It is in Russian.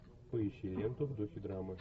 поищи ленту в духе драмы